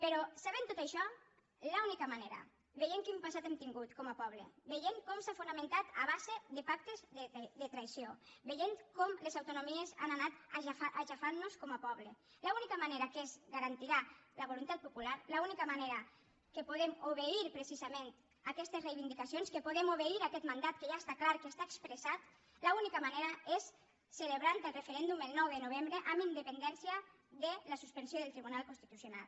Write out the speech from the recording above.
però sabent tot això l’única manera veient quin passat hem tingut com a poble veient com s’ha fonamentat a base de pactes de traïció veient com les autonomies han anat aixafant nos com a poble l’única manera en què es garantirà la voluntat popular l’única manera en què podem obeir precisament les reivindicacions en què podem obeir aquest mandat que ja està clar que està expressat l’única manera és celebrant el referèndum el nou de novembre amb independència de la suspensió del tribunal constitucional